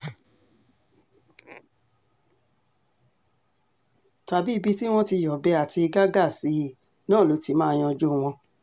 tàbí ibi tí wọ́n ti yọ̀bẹ àti gàǹgà sí i náà ló ti máa yanjú wọn